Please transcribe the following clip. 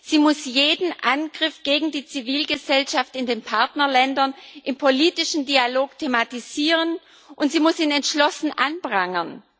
Sie muss jeden Angriff gegen die Zivilgesellschaft in den Partnerländern im politischen Dialog thematisieren, und sie muss ihn entschlossen anprangern.